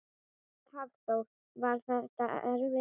Hafþór: Var þetta erfiður leikur?